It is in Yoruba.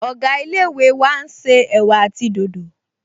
Ọ̀gá ilé-ìwé wa n ṣe ẹ̀wà àti dòdò